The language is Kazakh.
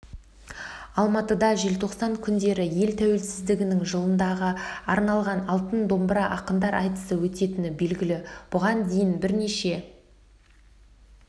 алматыда желтоқсан күндері ел тәуелсіздігінің жылдығына арналған алтын домбыра ақындар айтысы өтетіні белгілі бұған дейін бірнеше